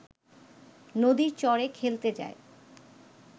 নদীর চরে খেলতে যায়।